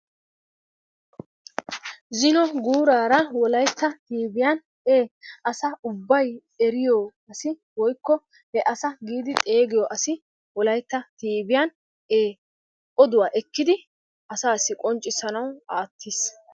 Zino guuraara Wolaytta miidiyan asa ubbay eriyo asi woykko he asa giidi xeeggiyo asi Wolaytta tiiviyan oduwaa ekkidi asassi qonccissanaw aattiis.